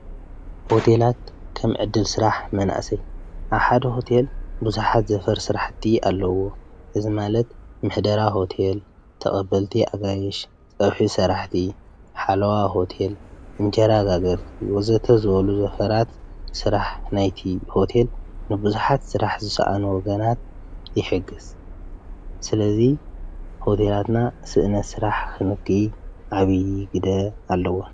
ሆቴላት ከም ዕድል ስራሕ መናእሰይ ኣብ ሓደ ሆቴል ብዙሓት ዘፈር ስራሕቲ ኣለዎ። እዚ ማለት ምሕደራ ሆቴል፣ ተቐበልቲ ኣጋይሽ፣ ፀብሒ ስራሕቲ፣ ሓለዋ ሆቴል፣ እንጀራ ጋገርቲ ወዘተ ዝበሉ ዘፈራት ስራሕ ናይቲ ሆቴል ንብዙሓት ስራሕ ዝሰኣኑ ወጋናት ይሕግዝ። ስለዙይ ሆቴላትና ስእነት ስራሕ ኽንኪ ዓብዪ ግደ ኣለዎ።